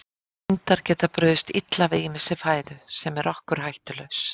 Hundar geta brugðist illa við ýmissi fæðu sem er okkur hættulaus.